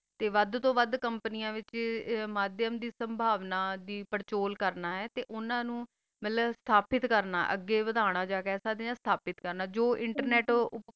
ਤਾ ਵਧ ਵਧ ਕੋਮ੍ਪੰਯਿਆ ਵਿਤਚ ਬਾਵ੍ਨਾ ਦੀ ਫਾਰ ਸੋ ਕਾਲ ਕਰਨਾ ਆ ਓਨਾ ਨੂ ਮਿਲ ਸਾਬਤ ਕਰਨਾ ਆ ਵਾਦੀਆਨਾ ਜਾ ਕਾ ਜੋ ਇੰਟਰਨੇਟ ਕਰ ਦਾ ਆ